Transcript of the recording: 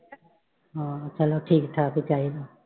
ਹਾਂ ਚਲੋ ਠੀਕ ਠਾਕ ਹੀ ਚਾਹੀਦਾ।